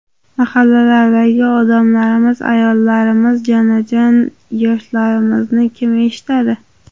Mahallalardagi odamlarimiz, ayollarimiz, jonajon yoshlarimizni kim eshitadi?!